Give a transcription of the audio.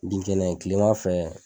Binkɛnɛ kilema fɛ.